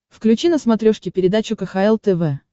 включи на смотрешке передачу кхл тв